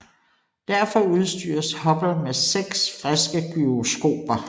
Derfor udstyres Hubble med seks friske gyroskoper